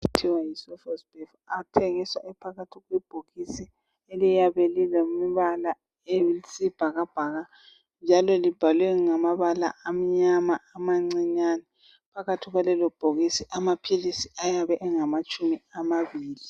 Amaphilisi athiwa yiSofosbuvir. Athengiswa ephakathi kwebhokisi eliyabe lilombala oyisibhakabhaka njalo libhalwe ngamabala amnyama amancinyane. Phakathi kwalelobhokisi amaphilisi ayabe engamatshumi amabili.